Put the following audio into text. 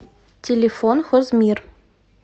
телефон хозмир